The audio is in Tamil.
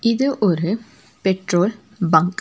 இது ஒரு பெட்ரோல் பங்க் .